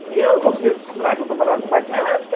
E eu não conseguia costurar porque eu trabalhava com máquina elétrica.